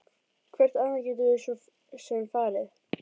Hvert annað gætum við svo sem farið?